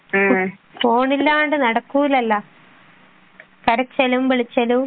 ആഹ് phone ഇല്ലാണ്ട് നടക്കൂലല്ലോ കരച്ചിലും വിളിച്ചലും